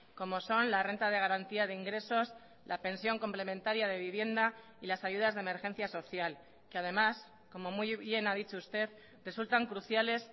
como son la renta de garantía de ingresos la pensión complementaria de vivienda y las ayudas de emergencia social que además como muy bien ha dicho usted resultan cruciales